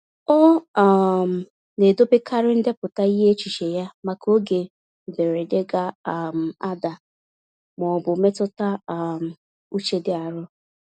Ọ um na-edobekarị ndepụta ihe echiche ya, maka oge mberede ga um ada ma ọ bụ mmetụta um uche dị arọ.